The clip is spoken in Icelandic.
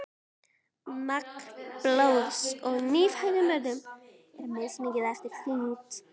magn blóðs í nýfæddum börnum er mismikið eftir þyngd